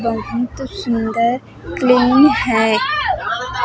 बहुत सुंदर प्लेन है।